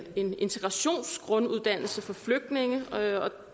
en integrationsgrunduddannelse for flygtninge